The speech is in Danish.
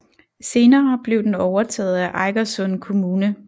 Senere blev den overtaget af Eigersund kommune